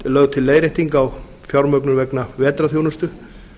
lögð til leiðrétting á fjármögnun vegna vetrarþjónustu